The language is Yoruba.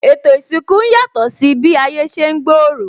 Ètò isinku ń yàtò si bi ayé ṣe ń gbooro